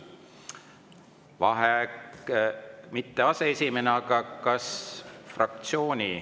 Vaheaeg mitte aseesimehena, vaid kas fraktsiooni …